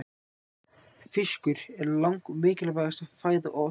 Fiskur er langmikilvægasta fæða otursins.